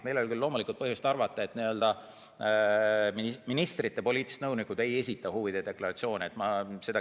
Meil ei ole küll loomulikult põhjust arvata, et ministrite poliitilised nõunikud ei esita huvide deklaratsioone.